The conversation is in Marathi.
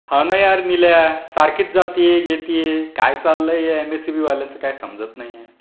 हो ना यार निल्या! सारखीच जाते येते. काय चाललंय या एमएसईबी वाल्यांचा काय समजत नाहीये.